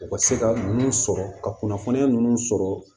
U ka se ka nun sɔrɔ ka kunnafoniya nunnu sɔrɔ